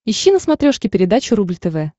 ищи на смотрешке передачу рубль тв